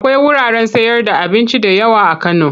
Akwai wuraren sayarda abinci da yawa a Kano.